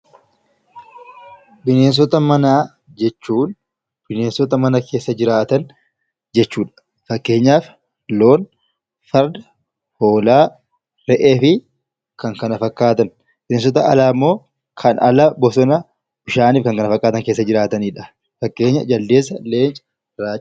Bineensota manaa jechuun bineensota mana keessa jiraatan, jechuu dha. Fakkeenyaaf Loon, Farda, Hoolaa, Re'ee fi kan kana fakkaatan. Bineensota alaa immoo kan ala, bosonaa fi bishaan kan kana fakkaatan keessa jiraatani dha. Fakkeenya Jaldeessa, Leenca, Raacha.